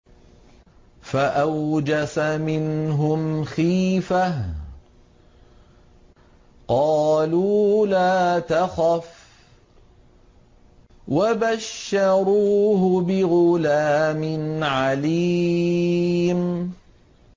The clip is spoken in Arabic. فَأَوْجَسَ مِنْهُمْ خِيفَةً ۖ قَالُوا لَا تَخَفْ ۖ وَبَشَّرُوهُ بِغُلَامٍ عَلِيمٍ